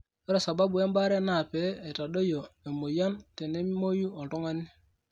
ore sababu embaaare naa pee eitadoyio emoyian tenemoyu oltun g'ani .